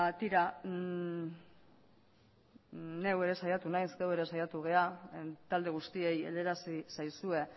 tira neu ere saiatu naiz geu ere saiatu gera talde guztiei helarazi zaizue